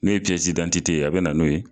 N'o ye piyɛsi didantite ye a be na n'o ye